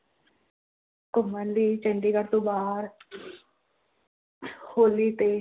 ਘੁੰਮਣ ਲਈ ਚੰਡੀਗੜ੍ਹ ਤੋਂ ਬਾਹਰ ਹੋਲੀ ਤੇ।